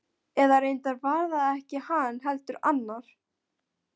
Eða reyndar var það ekki hann, heldur annar.